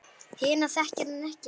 Hina þekkir hann ekki.